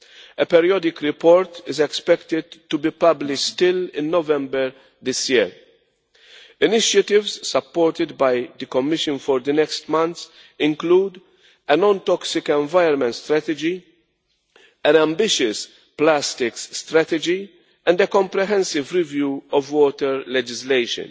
A periodic report is expected to be published in November this year. Initiatives, supported by the Commission for the next month, include a non toxic environment strategy, an ambitious plastics strategy and a comprehensive review of water legislation.